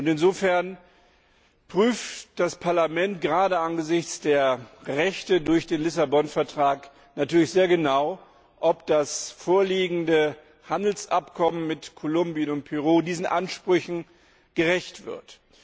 Insofern prüft das Parlament gerade angesichts der Rechte durch den Vertrag von Lissabon natürlich sehr genau, ob das vorliegende Handelsabkommen mit Kolumbien und Peru diesen Ansprüchen gerecht wird.